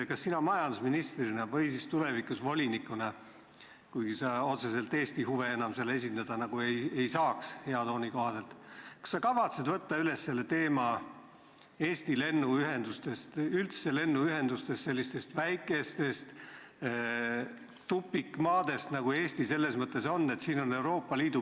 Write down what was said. Kas sina majandusministrina või siis tulevikus -volinikuna – kuigi sa otseselt Eesti huve enam seal esindada nagu ei saa, kui head tooni silmas pidada – kavatsed võtta üles Eesti lennuühenduste teema või tõsta lauale üldse lennuühendused sellistest väikestest tupikmaadest, nagu Eesti mõnes mõttes on?